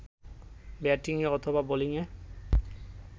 ব্যাটিংয়ে অথবা বোলিংএ